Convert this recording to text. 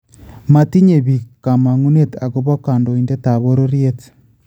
Matinye biik komongunet akopo kondoindidetaab bororyet